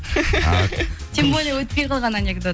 тем более өтпей қалған анекдот